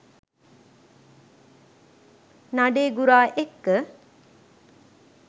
නඩේගුරා එක්ක